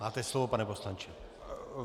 Máte slovo, pane poslanče.